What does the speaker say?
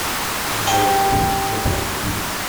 двойка запусти